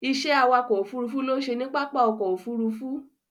Ìṣe awakọ̀ ófurufú ló ń ṣe ní pápá ọkọ̀ Òfurufú.